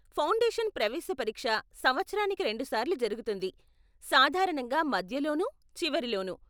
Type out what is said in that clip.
Foundation ప్రవేశ పరీక్ష సంవత్సరానికి రెండు సార్లు జరుగుతుంది, సాధారణంగా మధ్యలోనూ, చివరిలోనూ.